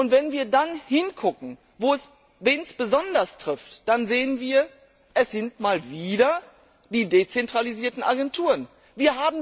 Wenn wir dann hinschauen, wen es besonders trifft, dann sehen wir, dass es mal wieder die dezentralisierten Agenturen sind.